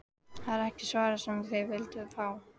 Það er ekki svarið sem þið vilduð fá.